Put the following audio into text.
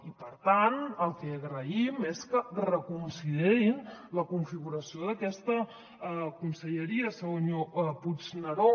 i per tant el que agraïm és que reconsiderin la configuració d’aquesta conselleria senyor puigneró